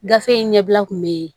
Gafe in ɲɛbila kun bee